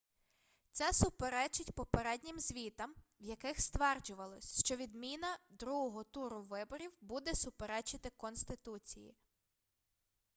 це суперечить попереднім звітам в яких стверджувалось що відміна другого туру виборів буде суперечити конституції